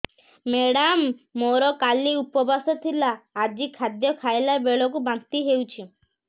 madam ମୋର କାଲି ଉପବାସ ଥିଲା ଆଜି ଖାଦ୍ୟ ଖାଇଲା ବେଳକୁ ବାନ୍ତି ହେଊଛି